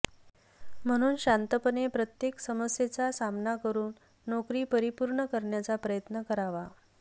म्हणून शांतपणे प्रत्येक समस्येचा सामना करून नोकरी परिपूर्ण करण्याचा प्रयत्न करावा